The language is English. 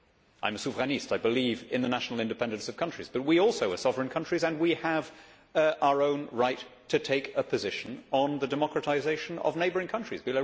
I am a souverainiste I believe in the national independence of countries, but we also are sovereign countries and we have our own right to take a position on the democratisation of neighbouring countries.